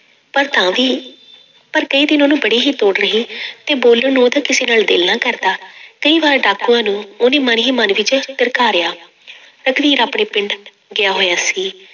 ਪਰ ਤਾਂ ਵੀ ਪਰ ਕਈ ਦਿਨ ਉਹਨੂੰ ਬੜੀ ਹੀ ਦੌੜ ਰਹੀ ਤੇ ਬੋਲਣ ਨੂੰ ਉਹਦਾ ਕਿਸੇ ਨਾਲ ਦਿਲ ਨਾ ਕਰਦਾ ਕਈ ਵਾਰ ਡਾਕੂਆਂ ਨੂੰ ਉਹਨੇ ਮਨ ਹੀ ਮਨ ਵਿੱਚ ਧਰਕਾਰਿਆ ਰਘਬੀਰ ਆਪਣੇ ਪਿੰਡ ਗਿਆ ਹੋਇਆ ਸੀ।